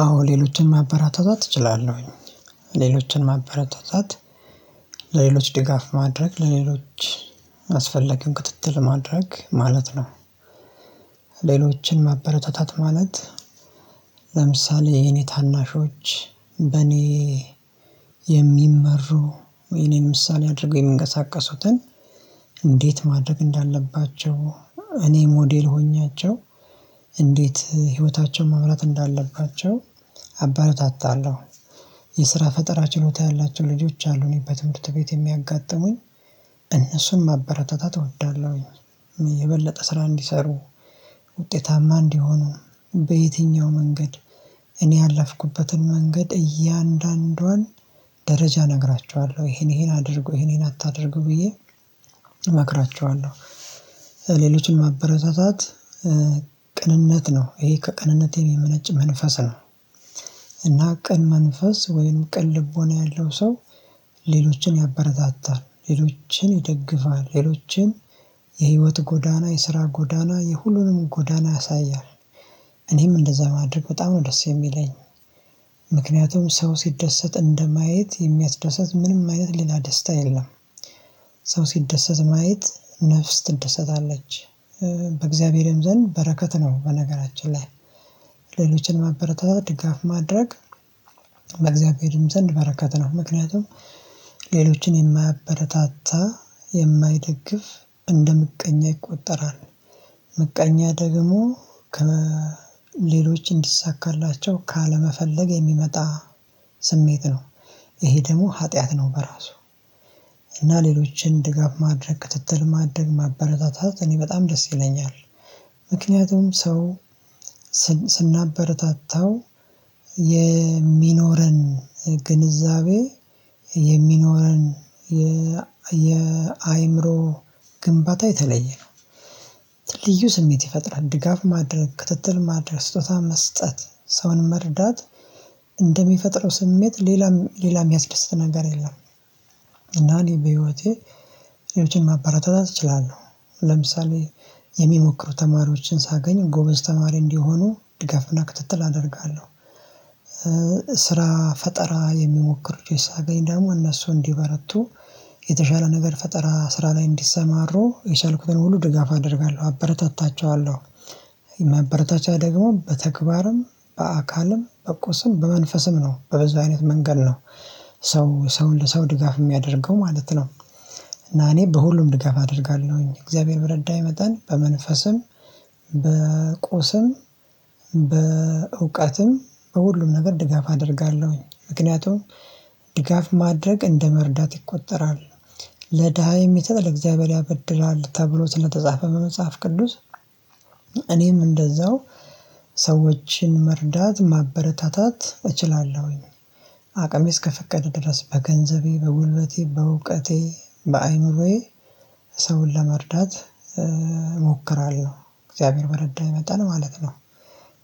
አዎ ሌሎችን ማበረታታት እችላለሁኝ ሌሎችን ማበራታታት ለሌሎች ድጋፍ ማድረግ ለሌሎች ማስፈለግን ክትትል ማድረግ ማለት ነው። ሌሎችን ማበረታታት ማለት። ለምሳሌ የኔ ታናሾች በኔ የሚመሩ ወይኔ ምሳሌ አድርገው የሚንቀሳቀሱትን እንዴት ማድረግ እንዳለባቸው እኔ ሞዴል ሆኛቸው እንዴት ህይወታቸውን ማብራት እንዳለባቸው አአበረታታለሁ። የስራ ፈጠራ ችሎታ ያላቸው ልጆች አሉ እኔ በትምህርት ቤት የሚያጋጥሙኝ እነሱን ማበረታታት እወዳለሁ። የበለጠ ስራ እንዲሰሩ ውጤታማ እንዲሆኑ በየትኛው መንገድ እኔ ያለፍኩበትን መንገድ እያንዳንዷን ደረጃ እነግራቸዋለሁ ይሄን ይሄን አድርጎ ይሄን አታድርግ ብዬ እመክራችኋለሁ። ሌሎችን ማበረታታት ቅንነት ነው ይሄ ከቅንነት የሚመነጭ መንፈስ ነው። እና ቅን መንፈስ ወይንም ቅን ልቦና ያለው ሰው ሌሎችን ያበረታታል ሌሎችን ይደግፋል ሌሎችን የህይወት ጎዳና የስራ ጎዳና የሁሉንም ጎዳና ያሳያል። እኔም እንደዛ ማድረግ በጣም ነው ደስ የሚለኝ። ምክንያቱም ሰው ሲደሰት እንደማየት የሚያስደሰት ምንም አይነት ሌላ ደስታ የለም። ሰው ሲደሰት ማየት ነፍስ ትደሰታለች። በእግዚአብሔርም ዘንድ በረከት ነው በነገራችን ላይ። ሌሎችን ማበረታታት ድጋፍ ማድረግ በእግዚአብሔርም ዘንድ በረከት ነው ምክንያቱም። ሌሎችን የማያበረታታ የማይደግፍ እንደ ምቀኛ ይቆጠራል። ምቀኛ ደግሞ ከሌሎች እንዲሳካላቸው ካለመፈለግ የሚመጣ ስሜት ነው። ይሄ ደግሞ ኃጢአት ነው በራሱ። እና ሌሎችን ድጋፍ ማድረግ ክትትል ማደግ ማበረታታት እኔ በጣም ደስ ይለኛል። ምክንያቱም ሰው ስናበረታታው የሚኖረን ግንዛቤ የሚኖረን የ የአእምሮ ግንባታ የተለየ ነው። ልዩ ስሜት ይፈጥራል ድጋፍ ማድረግ ክትትል ማድረግ ስጦታ መስጠት ሰውን መርዳት። እንደሚፈጥረው ስሜት ሌላም ሌላ ሚያስደስተ ነገር የለም። እና እኔ በህይወቴ ሌሎችን ማበረታታት እችላለሁ ለምሳሌ የሚሞክሩ ተማሪዎችን ሳገኝ ጎበዝ ተማሪ እንዲሆኑ ድጋፍና ክትትል አደርጋለሁ። ስራ ፈጠራ የሚሞክር ልጆች ሳገኝ ደግሞ እነሱ እንዲበረቱ የተሻለ ነገር ፈጠራ ስራ ላይ እንዲሰማሩ የቻልኩትን ሁሉ ድጋፍ አደርጋለሁ አበረታታቸዋለሁ። ማበረታቻ ደግሞ በተግባርም በአካልም በቆስም በመንፈስም ነው በበዛ አይነት መንገድ ነው። ሰው ሰው ለሰው ድጋፍ የሚያደርገው ማለት ነው። እና እኔ በሁሉም ድጋፍ አደርጋለሁኝ እግዚአብሔር በረዳኝ መጣን በመንፈስም በቁስም በእውቀትም በሁሉም ነገር ድጋፍ አደርጋለሁኝ ምክንያቱም ድጋፍ ማድረግ እንደመርዳት ይቆጠራል። ለድሃ የሚሰጥ ለእግዚአብሔር ያበድላል ተብሎ ስለተጻፈ በመጽሐፍ ቅዱስ። እኔም እንደዛው ሰዎችን መርዳት ማበረታታት እችላለሁኝ። አቅሜ እስከፈቀደ ድረስ በገንዘቤ በጉልበቴ በእውቀቴ በአእምሮዬ ሰውን ለመርዳት እሞክራለሁ እግዚአብሔር በረዳኝ መጣን ማለት ነው።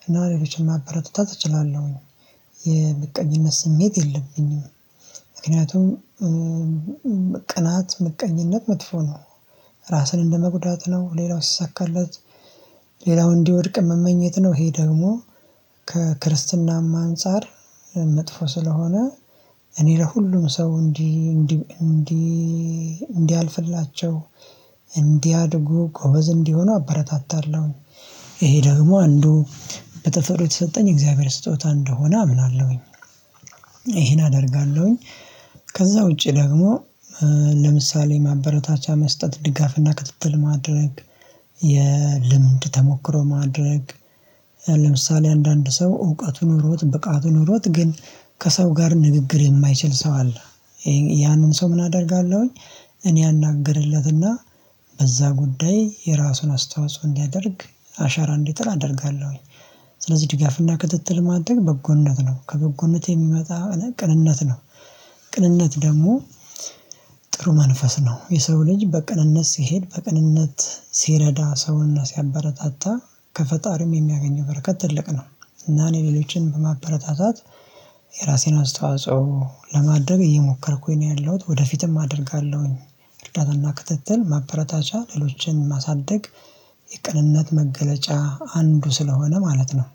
እና ሌሎችን ማበረታት እችላለሁኝ የምቀኝነት ስሜት የለብኝም። ምክንያቱም ቅናት ምቀኝነት መጥፎ ነው። ራስን እንደመጉዳት ነው ሌላው ሲሳካለት ሌላው እንዲወድቅ መመኘት ነው ይሄ ደግሞ። ከክርስትናማ አንፃር መጥፎ ስለሆነ እኔ ለሁሉም ሰው እንዲህ እንዲህ እንዲህ እንዲህ አልፍላቸው። እንዲያድጉ ጎበዝ እንዲሆኑ አበረታታለሁ። ይሄ ደግሞ አንዱ በተፈጥሮ የተሰጠኝ የእግዚአብሔር ስጦታ እንደሆነ አምናለሁኝ። ይሄን አደርጋለሁኝ። ከዛ ውጪ ደግሞ ለምሳሌ ማበረታቻ መስጠት ድጋፍና ክትትል ማድረግ። የልምድ ተሞክሮ ማድረግ። ለምሳሌ አንዳንድ ሰው እውቀቱን ኖሮት ብቃቱ ኖሮት ግን ከሰው ጋር ንግግር የማይችል ሰው አለ። ያንን ሰው ምን አደርጋለሁኝ? እኔ አናገርለትና በዛ ጉዳይ የራሱን አስተዋጽኦ እንዲያደርግ አሻራ እንዲጥል አደርጋለሁኝ። ስለዚህ ድጋፍና ክትትል ማድረግ በጎነት ነው ከበጎነት የሚመጣ ቅንነት ነው። ቅንነት ደግሞ ጥሩ መንፈስ ነው። የሰው ልጅ በቅንነት ሲሄድ በቅንነት ሲረዳ ሰውና ሲያበረታታ ከፈጣሪም የሚያገኘው በረከት ትልቅ ነው። እና እኔ ሌሎችን በማበረታታት የራሴን አስተዋጽኦ ለማድረግ እየሞከርኩኝ ነው ያለሁት ወደፊትም አደርጋለሁኝ። እርዳታና ክትትል ማበረታቻ ሌሎችን ማሳደግ የቅንነት መገለጫ አንዱ ስለሆነ ማለት ነው።